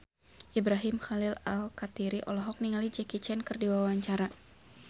Ibrahim Khalil Alkatiri olohok ningali Jackie Chan keur diwawancara